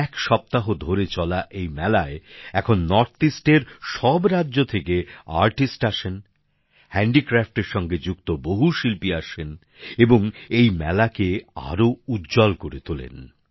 এক সপ্তাহ ধরে চলা এই মেলায় এখন উত্তরপূর্ব অঞ্চলের সব রাজ্য থেকে শিল্পী আসেন হস্তশিল্পের সঙ্গে যুক্ত বহু শিল্পী আসেন এবং এই মেলাকে আরও উজ্জ্বল করে তোলেন